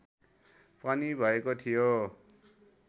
पनि भएको थियो